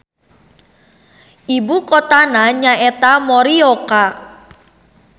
Ibukotana nyaeta Morioka.